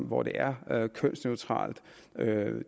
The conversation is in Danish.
hvor det er kønsneutralt